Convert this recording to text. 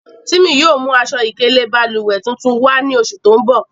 Timi yóò mu aṣọ-ikele bálúwẹ̀ tuntun wà ni oṣù tó ǹ bọ̀.